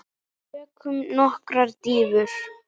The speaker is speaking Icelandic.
Tökum nokkrar dýfur!